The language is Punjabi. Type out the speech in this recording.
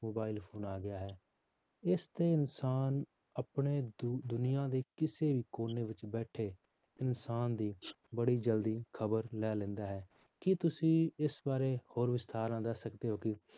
Mobile phone ਆ ਗਿਆ ਹੈੈ, ਇਸ ਤੇ ਇਨਸਾਨ ਆਪਣੇ ਦੁ~ ਦੁਨੀਆਂ ਦੇ ਕਿਸੇ ਵੀ ਕੋਨੇ ਵਿੱਚ ਬੈਠੇ ਇਨਸਾਨ ਦੀ ਬੜੀ ਜ਼ਲਦੀ ਖ਼ਬਰ ਲੈ ਲੈਂਦਾ ਹੈ ਕੀ ਤੁਸੀਂ ਇਸ ਬਾਰੇ ਹੋਰ ਵਿਸਥਾਰ ਨਾਲ ਦੱਸ ਸਕਦੇ ਹੋ ਕਿ